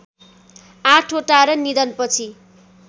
आठवटा र निधनपछि